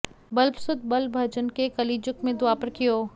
बल्लभसुत बल भजन के कलिजुग में द्वापर कियो